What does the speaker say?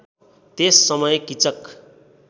त्यस समय किचक